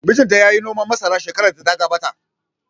Mijin ta yayi noman masara shekarar da ta gabata